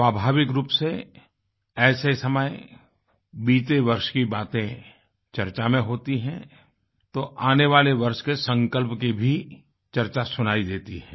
स्वाभाविक रूप से ऐसे समयबीते वर्ष की बातें चर्चा में होती हैं तो आने वाले वर्ष के संकल्प की भी चर्चा सुनाई देती है